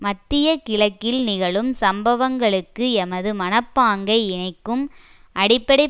மத்திய கிழக்கில் நிகழும் சம்பவங்களுக்கு எமது மனப்பாங்கை இணைக்கும் அடிப்படை